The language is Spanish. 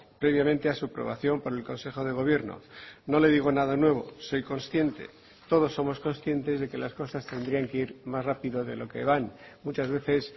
previamente a su aprobación por el consejo de gobierno no le digo nada nuevo soy consciente todos somos conscientes de que las cosas tendrían que ir más rápido de lo que van muchas veces